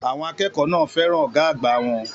Àwọn akẹ́kọ̀ọ́ náà fẹ́ràn ọ̀gá àgbà wọn.